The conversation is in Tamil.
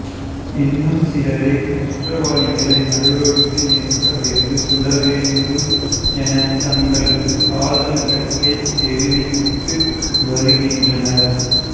இன்னும் சிலரோ குற்றவாளிகளை நடுரோட்டில் நிற்க வைத்து சுட வேண்டும் என தங்களது ஆதங்கத்தை தெரிவித்து வருகின்றனர்